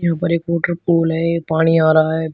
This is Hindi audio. ये ऊपर एक वॉटरपूल है ये पानी आ रहा है अभी।